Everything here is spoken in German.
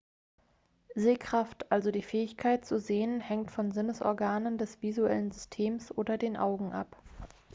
sehkraft also die fähigkeit zu sehen hängt von sinnesorganen des visuellen systems oder den augen ab